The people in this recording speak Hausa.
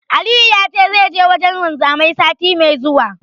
Aliyu ya ce zai je wajen wanzami, sati mai zuwa.